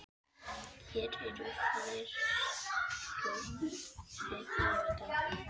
Hér eru færslur þriggja daga.